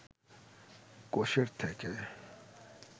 কোষের থেকে